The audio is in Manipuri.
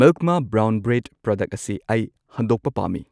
ꯃꯤꯜꯛ ꯃꯥ ꯕ꯭ꯔꯥꯎꯟ ꯕ꯭ꯔꯦꯗ ꯄ꯭ꯔꯗꯛ ꯑꯁꯤ ꯑꯩ ꯍꯟꯗꯣꯛꯄ ꯄꯥꯝꯃꯤ꯫